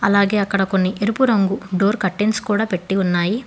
అలాగే అక్కడ కొన్ని ఎరుపు రంగు డోర్ కర్టెన్స్ కూడా పెట్టి ఉన్నాయి.